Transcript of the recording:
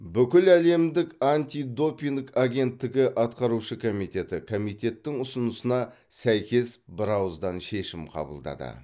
бүкіләлемдік антидопинг агенттігі атқарушы комитеті комитеттің ұсынысына сәйкес бірауыздан шешім қабылдады